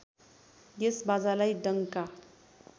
यस बाजालाई डङ्का